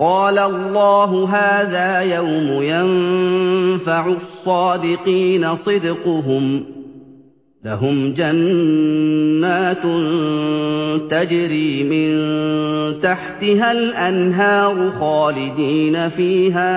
قَالَ اللَّهُ هَٰذَا يَوْمُ يَنفَعُ الصَّادِقِينَ صِدْقُهُمْ ۚ لَهُمْ جَنَّاتٌ تَجْرِي مِن تَحْتِهَا الْأَنْهَارُ خَالِدِينَ فِيهَا